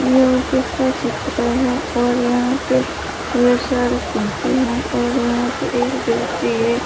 यह ऑफिस का चित्र है और यहां पे ढेर सारी कुर्सी हैं और यहां पे एक व्यक्ति है ।